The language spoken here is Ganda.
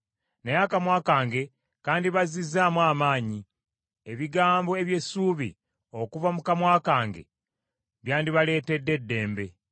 Naye akamwa kange kandibazizzaamu amaanyi; ebigambo eby’essuubi okuva mu kamwa kange byandibaleetedde eddembe.